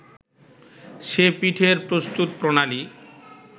সে পিঠের প্রস্তুতপ্রণালি